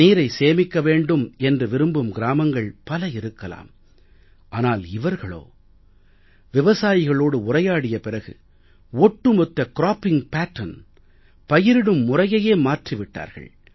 நீரை சேமிக்க வேண்டும் என்று விரும்பும் கிராமங்கள் பல இருக்கலாம் ஆனால் இவர்களோ விவசாயிகளோடு உரையாடிய பிறகு ஒட்டு மொத்த க்ராப்பிங் பேட்டர்ன் பயிரிடும் முறையையே மாற்றி விட்டார்கள்